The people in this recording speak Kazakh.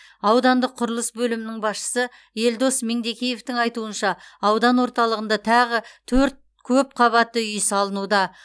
аудандық құрылыс бөлімінің басшысы елдос меңдекеевтің айтуынша аудан орталығында тағы төрт көпқабатты үй салынуда